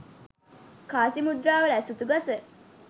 කාසි මුද්‍රාවල ඇසතු ගස